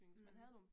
Mh